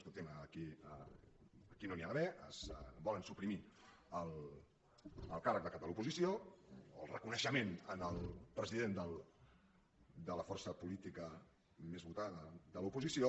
escolti’m aquí no n’hi ha d’haver volen suprimir el càrrec de cap de l’oposició o el reconeixement al president de la força política més votada de l’oposició